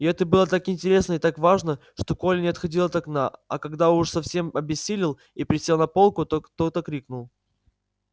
и это было так интересно и так важно что коля не отходил от окна а когда уж совсем обессилел и присел на полку то кто-то крикнул